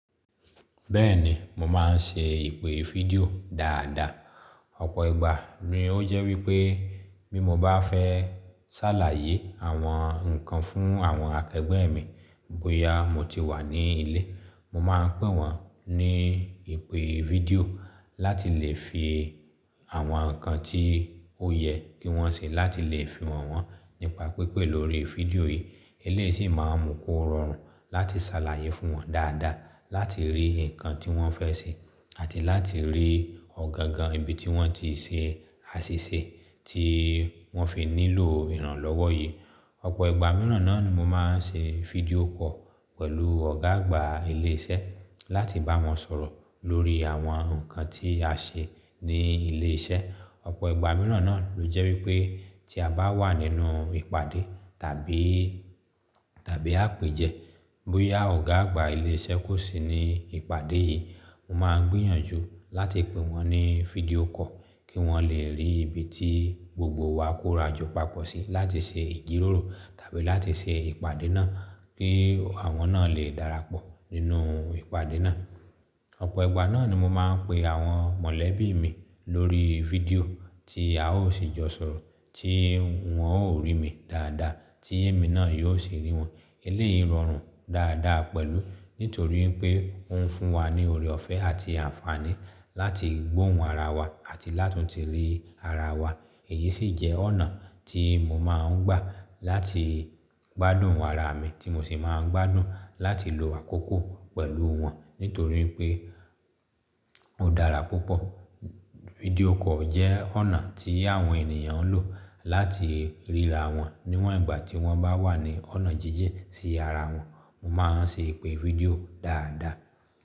Bẹ́ẹ̀ni, mo máa ń ṣe ìpè fídíò dáadáa. Ọ̀pọ̀ ìgbà ni ó jẹ́ wípé bí mo bá fẹ́ ṣàlàyé àwọn nǹkan fún àwọn akẹgbẹ́ mi bóyá mo ti wà ní ilé, mo máa n pè wọ́n ní ìpè fídíò láti lè fi àwọn nǹkan tí ó yẹ kí wọ́n ṣe láti lè fi hàn wọ́n nípa pípè lórí fídíò yìí. Eléyí sì máa mú kó rọrùn láti ṣàlàyé fún wọn dáadáa láti rí ǹkan tí wọ́n fẹ́ ṣe àti láti rí ọ̀gangan ibi tí wọ́n ti ṣe àṣìṣe tí wọ́n fi nílò ìrànlọ́wọ́ yìí. Ọ̀pọ̀ ìgbà mìíràn náà ni mo máa ń ṣe fídíò call pẹ̀lú ọ̀gá àgbà ilé iṣẹ́ láti bá wọn sọ̀rọ̀ lórí àwọn nǹkan tí a ṣe ní ilé iṣẹ́. Ọ̀pọ̀ ìgbà mìíràn náà ló jẹ́ wípé tí a bá wà nínú ìpàdé tàbí, tàbí àpèjẹ, bóyá ọ̀gá àgbà ilé iṣẹ́ kò sí ní ìpàdé yìí, mo máa gbìyànjú láti pe wọn ní fídíò call kí wọ́n lè rí ibi tí gbogbo wa kórajọ papọ̀ sí láti ṣe ìjíròrò tàbí láti ṣe ìpàdé náà kí àwọn náà lè darapọ̀ nínú ìpàdé náà. Ọ̀pọ̀ ìgbà náà ni mo máa ń pe àwọn mọ̀lẹ́bí mi lórí fídíò tí a ó sì jọ sọ̀rọ̀ tí wọ́n ó rí mi dáadáa tí èmi náà yóò sì rí wọn. Eléyìí rọrùn dáadáa pẹ̀lú nítorí pé ó ń fún wa ní oore ọ̀fẹ́ àti àǹfààní láti gbóhùn ara wa àti láti la tun tìrí ara wa. Èyí sì jẹ́ ọ̀nà tí mo máa ń gbà láti gbádùn àrà mi tí mo sì máa ń gbádùn láti lo àkókò pẹ̀lú wọn nítorí pé ó dára púpọ̀. Fídíò call jẹ́ ọ̀nà tí àwọn ènìyàn ń lò láti ríra wọn níwọ̀n ìgbà tí wọ́n bá wà ní ọ̀nà jíjìn sí ara wọn. Mo máa ń ṣe ìpè fídíò dáadáa.